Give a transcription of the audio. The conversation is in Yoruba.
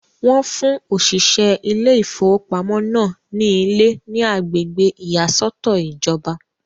Wọ́n fún òṣìṣẹ́ ilé ìfowópamọ́ náà ní ilé ní agbègbè ìyàsọ́tọ̀ ìjọba.